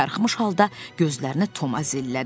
Karxımış halda gözlərinə Tomazirllədi.